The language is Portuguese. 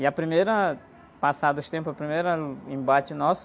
E a primeira, passado os tempos, a primeira... Embate nosso,